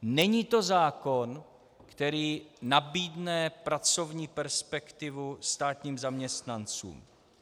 Není to zákon, který nabídne pracovní perspektivu státním zaměstnancům.